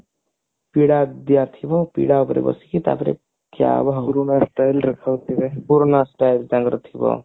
ପିଢା ଦିଅ ଥିବ ପିଢା ଉପରେ ବସିକି ତାପରେ ଆଗରୁ ନୂଆ style ରେ ଖାଉଥିବେ ପୁରୁଣା style ତାଙ୍କର ଥିବ